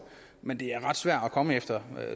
men det er ret svært at komme efter